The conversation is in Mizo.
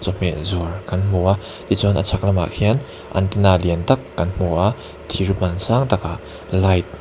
chawhmeh zuar kan hmu a tichuan a chhak lamah hian antenna lian tak kan hmu a thir ban sangtakah light .